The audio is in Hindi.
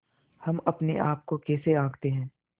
हम अपने आप को कैसे आँकते हैं